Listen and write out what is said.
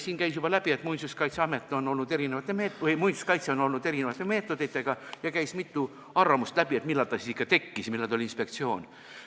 Siit käis juba läbi, et muinsuskaitsel on olnud erinevaid meetodeid, ja käis ka mitu arvamust läbi, et millal ta siis ikka tekkis ja millal ta oli inspektsioon.